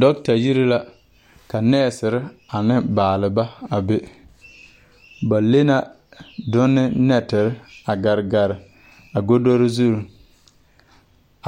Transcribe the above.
Dɔɔtayiri la ka nɛɛsere ne baaleba a be ba le na done nɛtere a gare gare a godore zuŋ